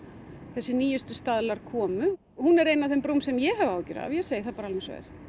þessi nýjustu staðlar komu hún er ein af þeim brúm sem ég hef áhyggjur af ég segi það bara alveg eins og er